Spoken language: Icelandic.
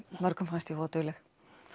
mörgum fannst ég voða dugleg